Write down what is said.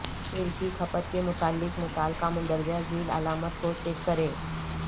تیل کی کھپت کے متعلق متعلقہ مندرجہ ذیل علامات کو چیک کریں